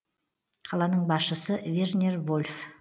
қаланың басшысы вернер вольф